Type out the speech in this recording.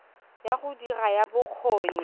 ya go dira ya bokgoni